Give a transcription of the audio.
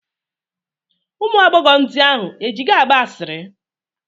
Ụmụ agbọghọ ndị ahụ e ji gị agba asịrị?